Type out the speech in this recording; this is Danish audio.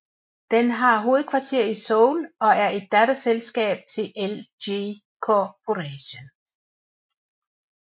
Den har hovedkvarter i Seoul og er et datterselskab til LG Corporation